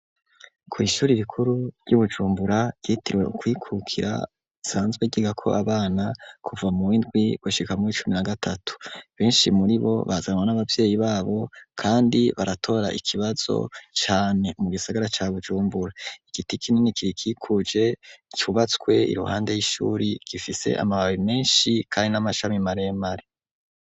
Kw ishuri rikuru Bujumbura ryitirwe kwikukira isanzwe ryiga ko abana kuva muwindwi gashikamwo icumi na gatatu benshi muri bo bazanwa n'abavyeyi babo kandi baratora ikibazo cane mu gisagara ca Bujumbura igiti kinini kirikikuje cubatswe iruhande y'ishuri gifise amababi menshi kandi n'amashami maremare.